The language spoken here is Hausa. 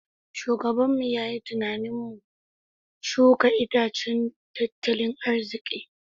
Shugabanmu ya yi tunanin mu shuka itacen tattalin arziki.